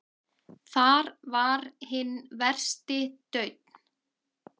Þar var hinn versti daunn.